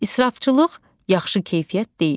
İsrafçılıq yaxşı keyfiyyət deyil.